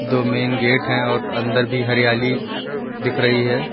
दो main gate हैं और अंदर भी हरियाली दिख रही है।